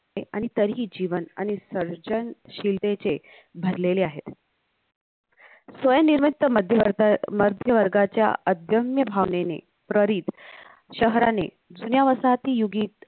आणि तरीही जीवन आणि सर्जनशीलतेचे भरलेले आहेत स्वयंनिवृत्त मध्यवर्ताळ मध्यवर्गाच्या अध्यम्म भावनेने प्ररित शहराने जुन्या वसाहती युगीत